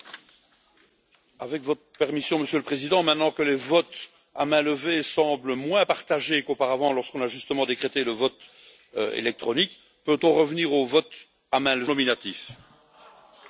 Monsieur le Président, maintenant que le vote à main levée semble moins partagé qu'auparavant, lorsqu'on a justement décrété le vote électronique, peut on revenir au vote à main levée pour le vote non nominatif, pour accélérer la procédure?